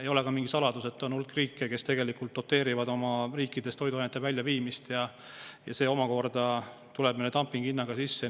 Ei ole ka mingi saladus, et on hulk riike, kes tegelikult doteerivad omamaiste toiduainete väljaviimist, ja see tuleb meile dumping-hinnaga sisse.